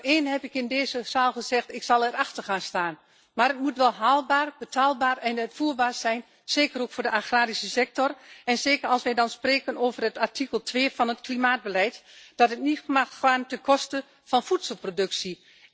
Vanaf dag één heb ik in deze zaal gezegd ik zal er achter staan, maar het moet wel haalbaar, betaalbaar en uitvoerbaar zijn, zeker ook voor de agrarische sector en zeker als we spreken over het artikel 2 van het klimaatbeleid en het mag niet gaan ten koste van voedselproductie.